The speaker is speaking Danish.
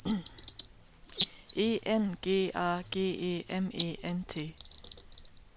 E N G A G E M E N T